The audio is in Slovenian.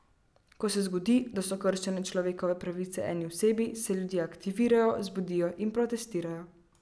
Ko se zgodi, da so kršene človekove pravice eni osebi, se ljudje aktivirajo, zbudijo in protestirajo.